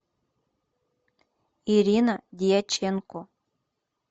ирина дьяченко